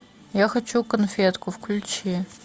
я хочу конфетку включи